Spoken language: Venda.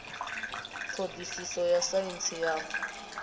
ṱho ḓisiso ya saintsi ya